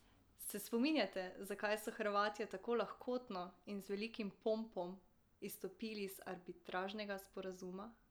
Se spominjate, zakaj so Hrvatje tako lahkotno in z velikim pompom izstopili iz arbitražnega sporazuma?